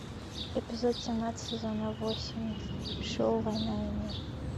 эпизод семнадцать сезона восемь шоу война и мир